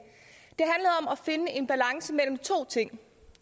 finde en balance mellem to ting